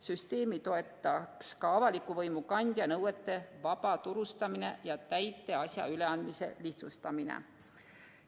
Süsteemi toetaks ka avaliku võimu kandja nõuete vabaturustamine ja täiteasja üleandmise lihtsustamine.